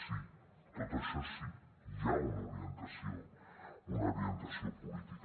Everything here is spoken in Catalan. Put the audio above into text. sí tot això sí hi ha una orientació una orientació política